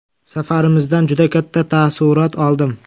Safarimizdan juda katta taassurot oldim.